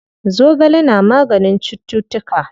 Zogale na maganin cuttutuka.